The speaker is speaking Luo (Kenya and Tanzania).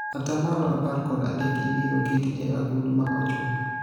atamalo apar kod adek ibiro keti e agulu ma ochuno